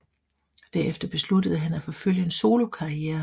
Derefter besluttede han at forfølge en solokarriere